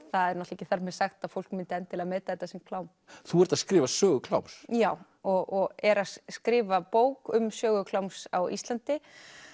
það er ekki þar með sagt að fólk myndi endilega meta þetta sem klám þú ert að skrifa sögu kláms já og er að skrifa bók um sögu kláms á Íslandi